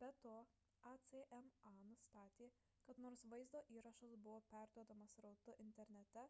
be to acma nustatė kad nors vaizdo įrašas buvo perduodamas srautu internete